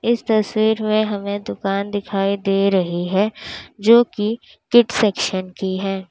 इस तस्वीर में हमें दुकान दिखाई दे रही है जो की किड सैक्शन की है।